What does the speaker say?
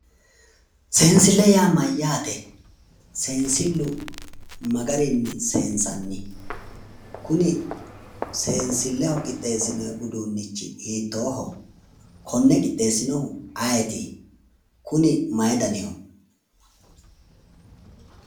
Seensille yaa mayyate? Seensillu ma garinni seensanni? Kuni. seensilleho qixxeesinoyi uduunnichii hiittooho? Konne qixxeessinohu ayeeti? Kuni mayi daniho?